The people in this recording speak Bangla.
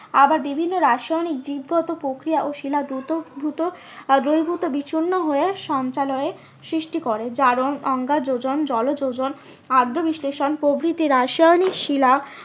আবার বিভিন্ন রাসায়নিক দিক গত প্রক্রিয়া ও শিলা দূত, দূত আহ দ্রবিভুর্ত বিচ্ছন্ন হয়ে সঞ্চালয়ের সৃষ্টি করে জারণ অজ্ঞাযোজন, জলযোজন আদ্যবিশ্লেষণ প্রভৃতি রাসায়নিক শিলা